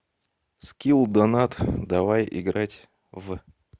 скилл донат давай играть в